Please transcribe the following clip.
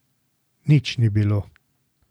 Nič ni bilo.